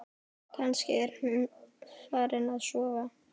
Kannski er hún farin að sofa.